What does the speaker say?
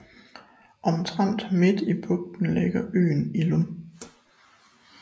Omtrent midt i bugten ligger øen Illum